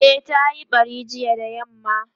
e ta Yi ɓari jiya da yamma